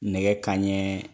Nɛgɛ kanɲɛ